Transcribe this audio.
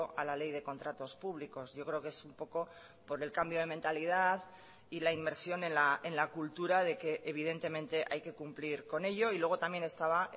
a la ley de contratos públicos yo creo que es un poco por el cambio de mentalidad y la inversión en la cultura de que evidentemente hay que cumplir con ello y luego también estaba